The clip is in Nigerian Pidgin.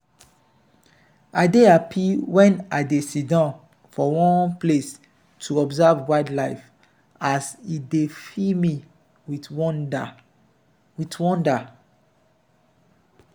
i dey happy wen i dey sidon for one place to observe wildlife as e dey fill me with wonder. with wonder.